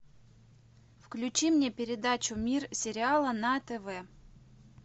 включи мне передачу мир сериала на тв